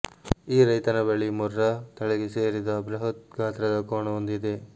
ಈ ರೈತನ ಬಳಿ ಮುರ್ರಾ ತಳಿಗೆ ಸೇರಿದ ಬೃಹತ್ ಗಾತ್ರದ ಕೋಣವೊಂದು ಇದೆ